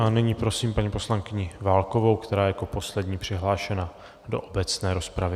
A nyní prosím paní poslankyni Válkovou, která je jako poslední přihlášená do obecné rozpravy.